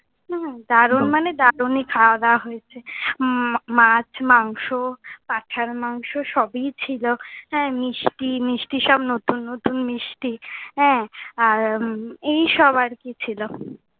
হম দারুন মানে দারুণই খাওয়া দাওয়া হয়েছে। উম মাছ, মাংস, পাঠার মাংস সবই ছিলো। হ্যাঁ মিষ্টি , মিষ্টি সব নতুন নতুন মিষ্টি, হ্যাঁ আর এই সব আর কি ছিলো।